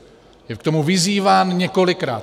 Je k tomu vyzýván několikrát.